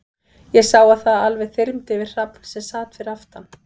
Ég sá að það alveg þyrmdi yfir Hrafn, sem sat fyrir aftan